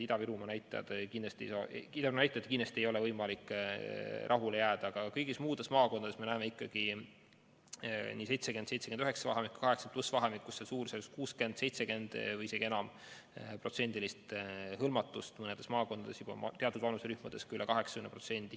Ida-Virumaa näitajatega kindlasti ei ole võimalik rahule jääda, aga kõigis muudes maakondades me näeme ikkagi 70–79 vahemikus ja 80+ vanusegrupis suurusjärgus 60%, 70% või isegi suuremat hõlmatust, mõnes maakonnas on teatud vanuserühmades hõlmatus juba üle 80%.